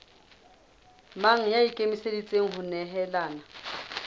mang ya ikemiseditseng ho nehelana